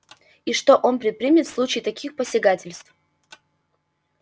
и что он предпримет в случае таких посягательств